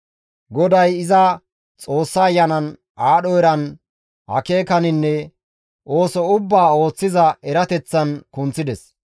GODAY iza Xoossa Ayanan, aadho eran, akeekaninne ooso ubbaa ooththiza erateththan kunththides.